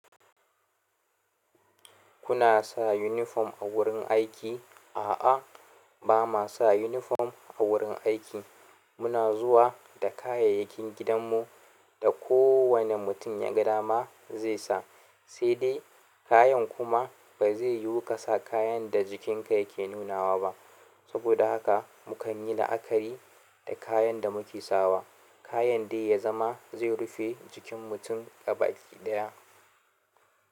Kuna sa yunifom a wurin aiki? A'a, ba ma sa yunifom a wurin aiki. Muna zuwa da kayayyakin gidanmu da kowane mutum ya ga dama zai sa, sai dai kayan kuma ba zai yiwu ka sa kayan da jikinka yake nunawa ba. Saboda haka mu kan yi la'akari da kayan da muke sawa, kayan dai ya zama zai rufe jikin mutum gabaki ɗaya.